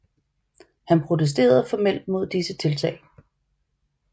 Han protesterede formelt mod disse tiltag